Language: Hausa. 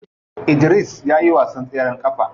Idris ya iya wasan tseren kafa.